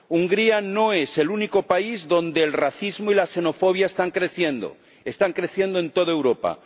Hungría no es el único país donde el racismo y la xenofobia están creciendo están creciendo en toda Europa